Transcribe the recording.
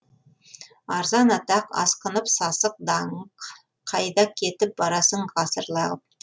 арзан атақ асқынып сасық даңық қайда кетіп барасың ғасыр лағып